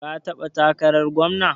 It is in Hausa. Ka taɓa takarar gwamna?